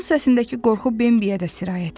Onun səsindəki qorxu Bembiya da sirayət etdi.